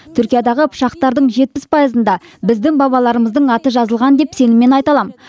түркиядағы пышақтардың жетпіс пайызында біздің бабаларымыздың аты жазылған деп сеніммен айта аламын